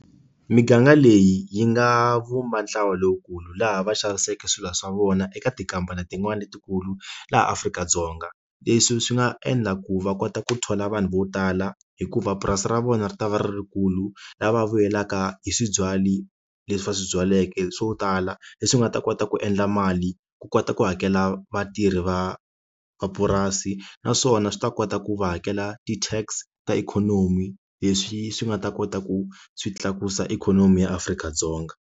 Miganga leyi yi nga vumba ntlawa lowukulu laha va xaviseke swilo swa vona eka tikamba na tin'wani letikulu laha Afrika-Dzonga leswi swi nga endla ku va kota ku thola vanhu vo tala hikuva purasi ra vona ri ta va ri ri rikulu lava vuyelaka hi swi byali leswi va swi byaleke swo tala leswi nga ta kota ku endla mali ku kota ku hakela vatirhi va mapurasi naswona swi ta kota ku va hakela ti tax ta ikhonomi leswi swi nga ta kota ku swi tlakusa ikhonomi ya Afrika-Dzonga.